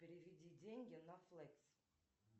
переведи деньги на флекс